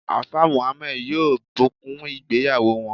Alfa Muhammad yoo bukun ìgbéyàwò wọn